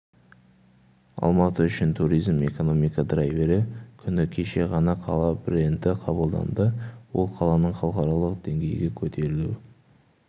алматы үшін туризм экономика драйвері күні кеше ғана қала бренді қабылданды ол қаланың халықаралық деңгейге көтерілу